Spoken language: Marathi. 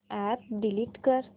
अॅप डिलीट कर